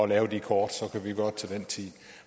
lave de kort så kunne vi gøre det til den tid